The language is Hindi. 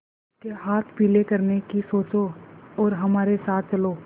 उसके हाथ पीले करने की सोचो और हमारे साथ चलो